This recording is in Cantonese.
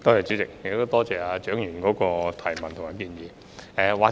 主席，多謝蔣議員的補充質詢及建議。